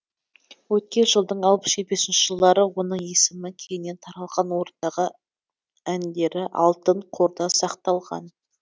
өткен жылдың алпыс жетпісінші жылдары оның есімі кеңінен таралған орындаған әндері алтын қорда сақталған